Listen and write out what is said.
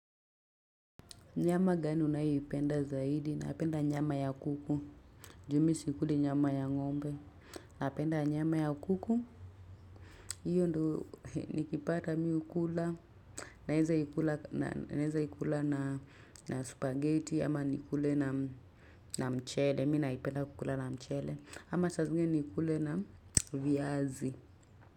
Nyama gani unayoipenda zaidi. Napenda nyama ya kuku. Ju mi sikuli nyama ya ng'ombe. Napenda nyama ya kuku. Hiyo ndo nikipata mi hukula naeza ikula. Naenza ikula na spaghetti. Ama nikule na mchele. Mi naipenda kukula na mchele. Ama saa zingine niikule na viazi.